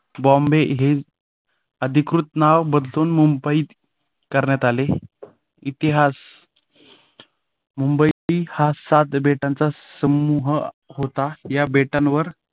बॉम्बे हे अधिकृत नाव बदलून मुंबई करण्यात आले इतिहास मुंबईत ही सात बेटांच्या समूह होता. या बेटावर